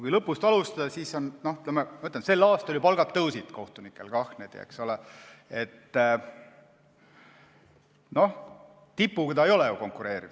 Kui lõpust alustada, siis sel aastal ju kohtunike palgad tõusid, aga tipuga need ei konkureeri.